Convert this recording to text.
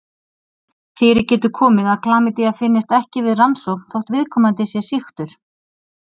Fyrir getur komið að klamydía finnist ekki við rannsókn þótt viðkomandi sé sýktur.